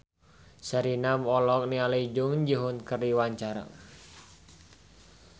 Sherina olohok ningali Jung Ji Hoon keur diwawancara